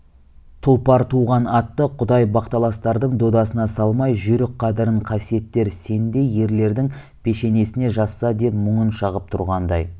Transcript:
тұлпар туған атты құдай бақталастардың додасына салмай жүйрік қадірін қасиеттер сендей ерлердің пешенесіне жазса деп мұңын шағып тұрғандай